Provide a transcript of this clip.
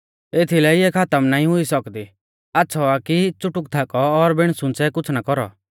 एथीलै इऐ खातम नाईं हुई सौकदी आच़्छ़ौ आ कि च़ुटुक थाकौ और बिण सुंच़ै कुछ़ ना कौरौ